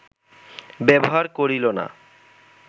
ব্যবহার করিল না